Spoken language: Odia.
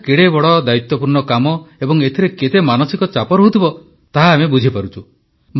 ଏହା କେତେ ବଡ଼ ଦାୟୀତ୍ୱପୂର୍ଣ୍ଣ କାମ ଏବଂ ଏଥିରେ କେତେ ମାନସିକ ଚାପ ରହୁଥିବ ତାହା ଆମେ ବୁଝିପାରୁଛୁ